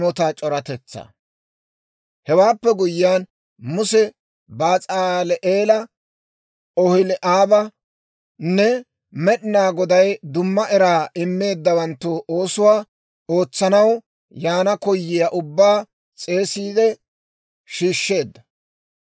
Hewaappe guyyiyaan Muse Basaal"eela, Oholi'aabanne Med'inaa Goday dumma era immeeddawanttu oosuwaa ootsanaw yaana koyiyaa ubbaa s'eesiide shiishsheedda.